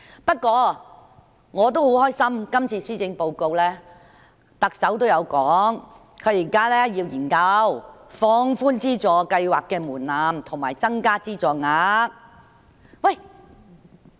不過，我也很高興，特首在今次的施政報告中，亦提到現時會研究放寬資助計劃的門檻及增加資助額。